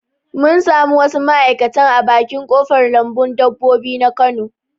Mun samu wasu ma'aikatan a bakin ƙofar lambun dabbobi na kano